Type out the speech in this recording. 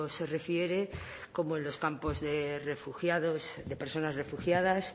se refiere como en los campos de refugiados de personas refugiadas